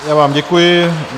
Já vám děkuji.